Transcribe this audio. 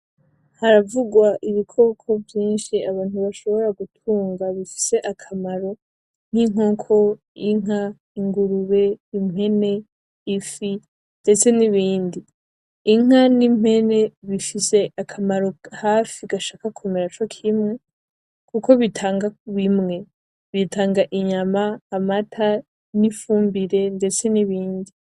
Haravugwa Ibikoko vyinshi abantu bashobora gutunga bifise akamaro nk'inkoko ,Inka ,Ingurube ,impene ,ifi, ndetse n'ibindi. Inka n'impene bifise hafi akamaro bishaka kumera cokimwe kuko bitanga bimwe, bitanga ,inyama amata, n'ifumbire ndetse n'ibindi,